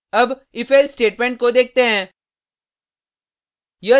अब ifelse statement को देखते हैं